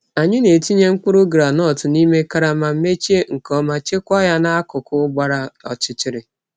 Anyị na-etinye mkpụrụ gwụndnut n’ime karama, mechie nke ọma, chekwaa ya n’akụkụ gbara ọchịchịrị.